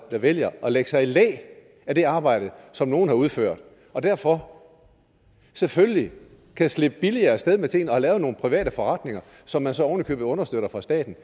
der vælger at lægge sig i læ af det arbejde som nogle har udført og derfor selvfølgelig kan slippe billigere sted med tingene og lave nogle private forretninger som man så oven i købet understøtter fra statens